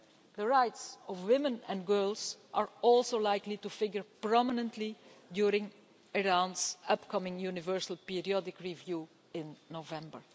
The rights of women and girls are also likely to figure prominently during Iran's upcoming Universal Periodic Review in November.